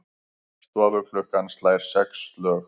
Stofuklukkan slær sex slög.